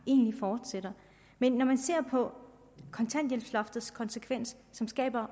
egentlig fortsætter men når man ser på kontanthjælpsloftets konsekvens så skaber